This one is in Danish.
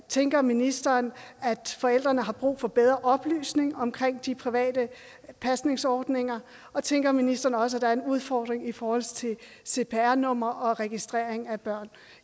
tænker ministeren at forældrene har brug for bedre oplysning omkring de private pasningsordninger og tænker ministeren også at der er en udfordring i forhold til cpr numre og registrering af børn